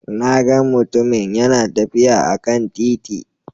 Na gan mutumun yana tafiya a kan titi